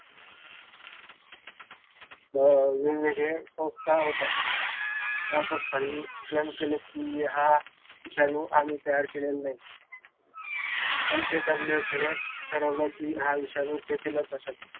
वेगवेगळ्या संस्था होत्या त्या संस्थांनी claim केलकी, हा विषाणू आम्ही तयार केलेला नाही. पण ते WHO ने ठरवल कि हा विषाणू